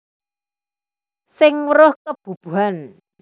Sing weruh kebubuhan